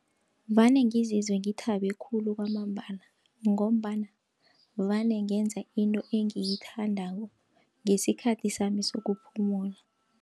Vane ngizizwe ngithabe khulu kwamambala, ngombana vane ngenza into engiyithandako, ngesikhathi sami sokuphumula.